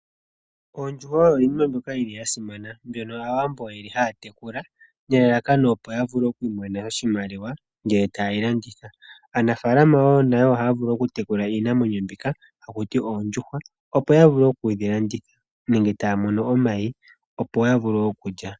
Oondjuhwa oyo iinima mboka yili yasimana, mbyono Aawambo yeli haya tekula nelalakano opo ya vule okwiimonena oshimaliwa ngele ta yeyi landitha. Aanafaalama wo nayo ohaya vulu oku tekula iinamwenyo mbika hakuti oondjuhwa opo ya vule okudhi landitha nenge taya mono omayi opo ya vule okulya.